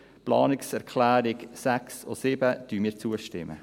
Den Planungserklärungen 6 und 7 stimmen wir zu.